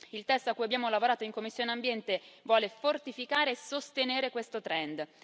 Il testo a cui abbiamo lavorato in commissione per l'ambiente vuole fortificare e sostenere questo trend.